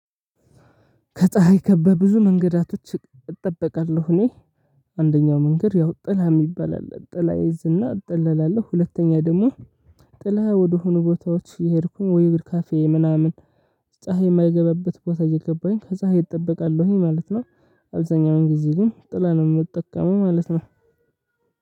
ከፀሀይ ከበብዙ መንገዳቶች እጠበቃለሁ እኔ አንደኛው መንገድ ያው ጥላ የሚባል አለ ጥላ እይዝና እጠላለሁ። ሁለተኛ ደግሞ ጥላ ወደሆኑ ቦታዎች የሄድኩኝ ወይ ወደ ካፌ ምናምን። ፀሀይ የማይገበብት ቦታ እየገባሁ ከፀሀይ እጠበቃለሁኝ ማለት ነው። አብዛኛውን ጊዜ ግን ጥላ ነው የምትጠቀመው ማለት ነው።